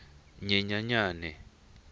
nyenyenyane